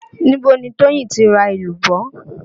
Níbo ni Toyin ti ra èlùbọ́?